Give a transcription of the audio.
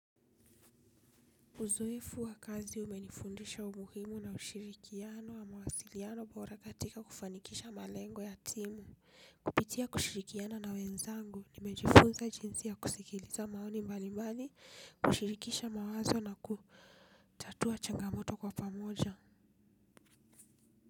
Uzoefu wa kazi umenifundisha umuhimu na ushirikiano wa mawasiliano bora katika kufanikisha malengo ya timu, kupitia kushirikiana na wenzangu, nimejifunza jinsi ya kusikiliza maoni mbali mbali, kushirikisha mawazo na kutatua changamoto kwa pamoja.